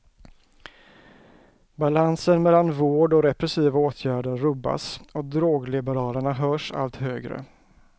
Balansen mellan vård och repressiva åtgärder rubbas, och drogliberalerna hörs allt högre.